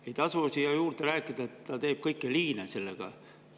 Ei tasu siia juurde rääkida, et ta teeb kõiki liine selle rahaga.